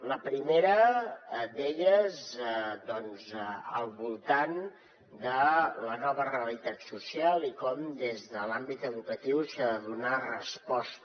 la primera d’elles al voltant de la nova realitat social i com des de l’àmbit educatiu s’hi ha de donar resposta